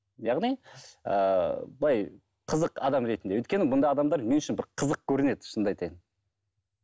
яғни ыыы былай қызық адам ретінде өйткені бұндай адамдар мен үшін бір қызық көрінеді шынымды айтайын